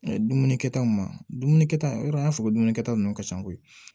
Dumuni kɛtaw ma dumuni kɛ ta yɔrɔ an y'a fɔ ko dumunikɛta nunnu ka ca koyi